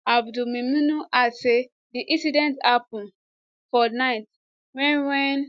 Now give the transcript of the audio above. abdulmimunu add say di incident happun for night wen wen